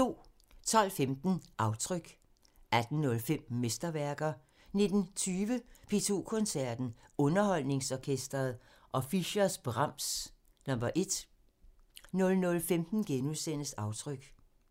12:15: Aftryk 18:05: Mesterværker 19:20: P2 Koncerten – Underholdningsorkestret og Fischers' Brahms #1 00:15: Aftryk *